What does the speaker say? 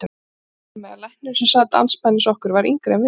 Og nú var svo komið að læknirinn sem sat andspænis okkur var yngri en við.